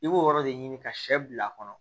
I b'o yɔrɔ de ɲini ka shɛ bila a kɔnɔ